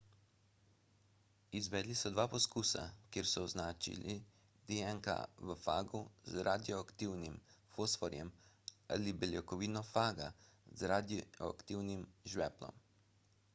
izvedli so dva poskusa kjer so označili dnk v fagu z radioaktivnim fosforjem ali beljakovino faga z radioaktivnim žveplom